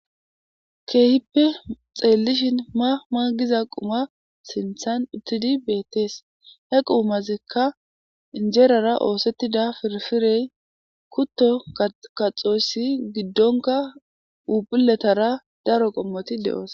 Hayisi xelishini ma ma giza quma hayisani uttidi bettesi.he qumazikka phuphulera ossetidda kuto katho giddonikka phuphuletara daro qomoti dosona